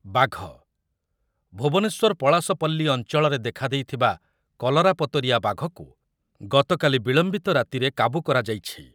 ବାଘ, ଭୁବନେଶ୍ୱର ପଳାସପଲ୍ଲୀ ଅଞ୍ଚଳରେ ଦେଖାଦେଇଥିବା କଲରାପତରିଆ ବାଘକୁ ଗତକାଲି ବିଳମ୍ବିତ ରାତିରେ କାବୁ କରାଯାଇଛି ।